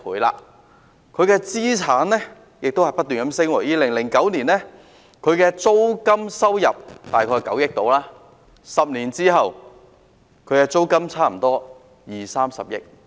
領展的資產亦不斷增加 ，2009 年租金收入大概為9億元 ，10 年後則差不多有二三十億元。